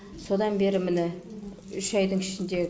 содан бері міне үш айдың ішінде